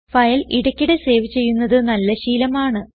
file ഇടയ്ക്കിടയ്ക്ക് save ചെയ്യുന്നത് നല്ല ശീലമാണ്